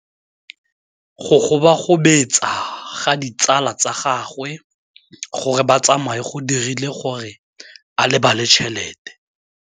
Go gobagobetsa ga ditsala tsa gagwe, gore ba tsamaye go dirile gore a lebale tšhelete.